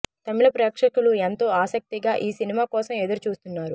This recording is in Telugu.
తమిళ ప్రేక్షకులు ఎంతో ఆసక్తిగా ఈ సినిమా కోసం ఎదురు చూస్తున్నారు